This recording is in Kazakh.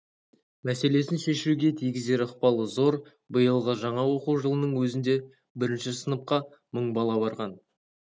мәселесін шешуге тигізер ықпалы зор биылғы жаңа оқу жылының өзінде бірінші сыныпқа мың бала барған